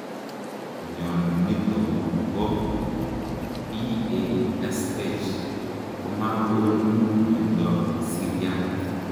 Mionitok poo PASH komagonuu miondoop siryaat